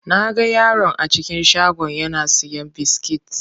Naga yaron a cikin shagon yana siyan biskit.